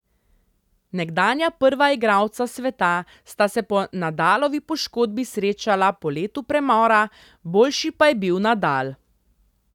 Nekdanja prva igralca sveta sta se po Nadalovi poškodbi srečala po letu premora, boljši pa je bil Nadal.